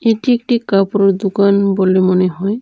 এটি একটি কাপড়ের দোকান বলে মনে হয়।